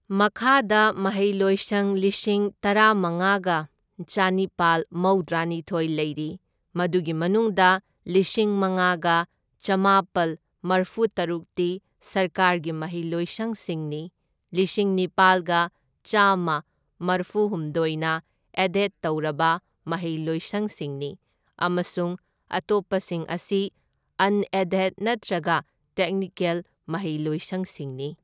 ꯃꯈꯥꯗ ꯃꯍꯩꯂꯣꯏꯁꯪ ꯂꯤꯁꯤꯡ ꯇꯔꯥꯃꯉꯥꯒ ꯆꯅꯤꯄꯥꯜ ꯃꯧꯗ꯭ꯔꯥꯅꯤꯊꯣꯢ ꯂꯩꯔꯤ, ꯃꯗꯨꯒꯤ ꯃꯅꯨꯡꯗ ꯂꯤꯁꯤꯡ ꯃꯉꯥꯒ ꯆꯥꯝꯃꯥꯄꯜ ꯃꯔꯐꯨꯇꯔꯨꯛꯇꯤ ꯁꯔꯀꯥꯔꯒꯤ ꯃꯍꯩꯂꯣꯏꯁꯪꯁꯤꯡꯅꯤ, ꯂꯤꯁꯤꯡ ꯅꯤꯄꯥꯜꯒ ꯆꯥꯝꯃ ꯃꯔꯐꯨꯍꯨꯝꯗꯣꯢꯅ ꯑꯦꯗꯦꯗ ꯇꯧꯔꯕ ꯃꯍꯩꯂꯣꯏꯁꯪꯁꯤꯡꯅꯤ, ꯑꯃꯁꯨꯡ ꯑꯇꯣꯞꯄꯁꯤꯡ ꯑꯁꯤ ꯑꯟ ꯑꯦꯗꯦꯗ ꯅꯠꯇ꯭ꯔꯒ ꯇꯦꯛꯅꯤꯀꯦꯜ ꯃꯍꯩꯂꯣꯏꯁꯪꯁꯤꯡꯅꯤ꯫